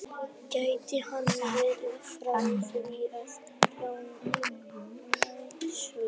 Gæti hann verið frá því á landnámsöld?